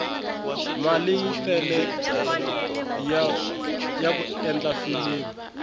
mali yi tele yaku endla filimi